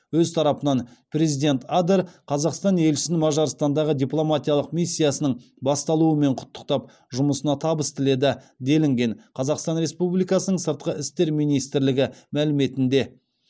өз тарапынан президент адер қазақстан елшісін мажарстандағы дипломатиялық миссиясының басталуымен құттықтап жұмысына табыс тіледі делінген қазақстан республикасының сыртқы істер министрлігі мәліметінде